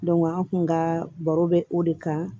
an kun ka baro bɛ o de kan